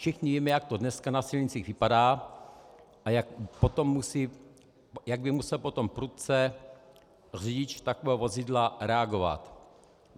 Všichni víme, jak to dneska na silnicích vypadá a jak by musel potom prudce řidič takového vozidla reagovat.